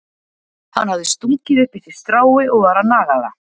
Hann hafði stungið upp í sig strái og var að naga það.